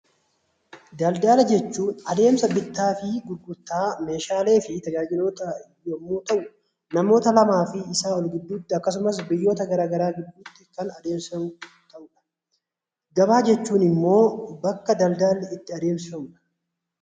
Daldala jechuun adeemsa bittaa fi gurgurtaa meeshaalee fi tajaajiloota yommuu ta'u, namoota lamaa fi isaa ol gidduutti akkasumas biyyoota garaagaraa gidduutti kan adeemsifamudha. Gabaa jechuun immoo bakka daldalli itti adeemsifamudha.